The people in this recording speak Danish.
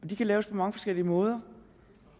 de kan laves på mange forskellige måder